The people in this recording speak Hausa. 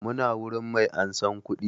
Muna wurin mai ansan kuɗi